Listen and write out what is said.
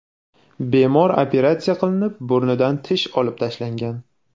Bemor operatsiya qilinib, burnidan tish olib tashlangan.